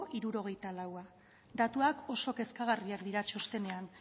hirurogeita lau datuak oso kezkagarriak dira txostenean